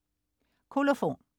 Kolofon